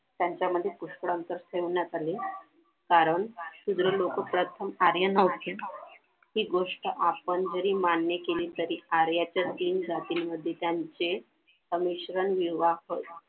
त्यांच्यामध्ये पुष्कळ अंतर ठेवण्यात आले कारण इथे लोक प्रथम आर्यन house ची हि गोष्ट आपण जरी मान्य केली तरी आर्याच्या तीन जातींमध्ये त्यांचे अमिश्रण निर्माण करून